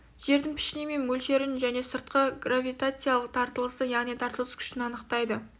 жердің пішіні мен мөлшерін және сыртқы гравитациялық тартылысын яғни тартылыс күшін анықтайды